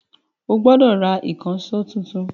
O gbọ́dọ̀ Ra ìkànṣó tuntun